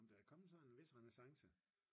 Jamen der er kommet sådan en vis renæssance